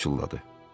Atos pıçıldadı.